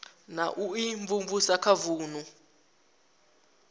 na u imvumvusa kha vunu